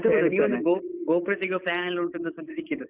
ನೀವ್ ಭೋಪಾಲ್ ತೆಗಿಯುವ plan ಎಲ್ಲ ಉಂಟಂತ ಸುದ್ದಿ ಸಿಕ್ಕಿತು.